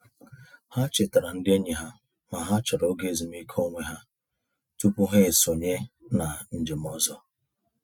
Ha chetara ndị enyi ha na ha chọrọ oge ezumiike onwe ha tụpụ ha esonye na njem ọzọ.